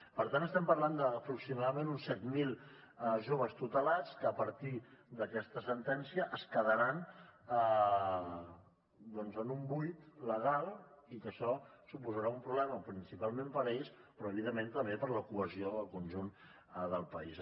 per tant estem parlant d’aproximadament uns set mil joves tutelats que a partir d’aquesta sentència es quedaran doncs en un buit legal i que això suposarà un problema principalment per a ells però evidentment també per a la cohesió del conjunt del país